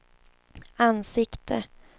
ansikte